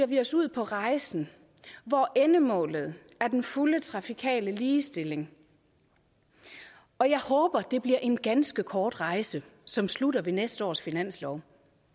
vi os ud på rejsen hvor endemålet er den fulde trafikale ligestilling og jeg håber det bliver en ganske kort rejse som slutter ved næste års finanslov